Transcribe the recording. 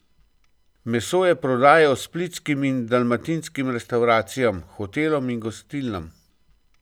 Meso je prodajal splitskim in dalmatinskim restavracijam, hotelom in gostilnam.